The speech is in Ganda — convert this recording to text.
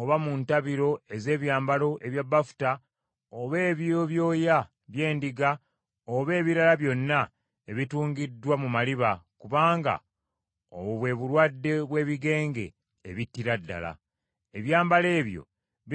oba mu ntabiro ez’ebyambalo ebya bafuta oba eby’ebyoya by’endiga, oba ebirala byonna ebitungiddwa mu maliba, kubanga obwo bwe bulwadde bw’ebigenge ebittira ddala. Ebyambalo ebyo binaayokebwanga mu muliro.